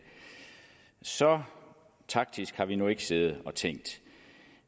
så taktisk har vi nu ikke siddet og tænkt